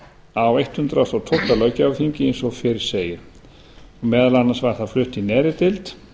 á hundrað og tólfta löggjafarþingi eins og fyrr segir meðal annars var það flutt í neðri deild